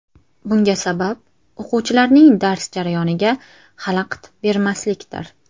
Bunga sabab o‘quvchilarning dars jarayoniga xalaqit bermaslikdir.